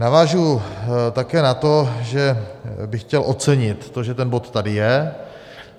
Navážu také na to, že bych chtěl ocenit to, že ten bod tady je.